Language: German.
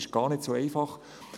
Es ist gar nicht so einfach.